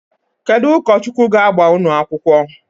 Kedu ụkọchukwu ga-agba unu akwukwọ?